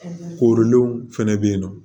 Korilenw fɛnɛ be yen nɔ